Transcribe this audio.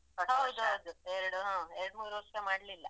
ಹೌದು ಹೌದು ಎರಡು ಹಾ ಎರಡ್ ಮೂರ್ ವರ್ಷ ಮಾಡ್ಲಿಲ್ಲ.